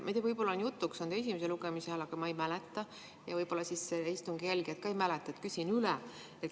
Ma ei tea, võib-olla see tuli jutuks esimese lugemise ajal, aga ma ei mäleta ja võib-olla istungi jälgijad ka ei mäleta, nii et küsin üle.